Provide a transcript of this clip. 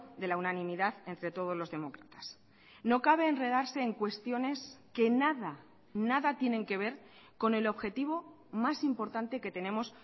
de la unanimidad entre todos los demócratas no cabe enredarse en cuestiones que nada nada tienen que ver con el objetivo más importante que tenemos